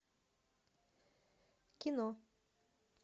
кино